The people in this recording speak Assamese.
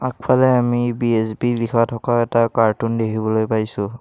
আগফালে আমি বি_এছ_বি লিখা থকা এটা কাৰ্টুন দেখিবলৈ পাইছোঁ।